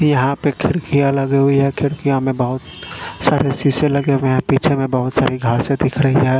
यहां पर खिड़कियां लगे हुई है खिड़कियां में बहोत सारे शीशे लगे हुए पीछे में बहोत सारी घासे दिख रही है।